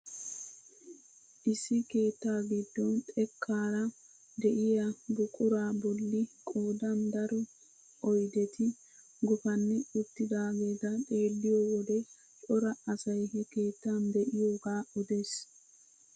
Issi keettaa giddon xekkaara de'iyaa buquraa bolli qoodan daro oydeti gupanni uttidaageta xeelliyoo wode cora asay he keettan de'iyoogaa odees!